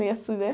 Meio assim, né?